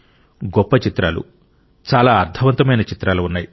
గొప్ప చిత్రాలు చాలా అర్థవంతమైన చిత్రాలు ఉన్నాయి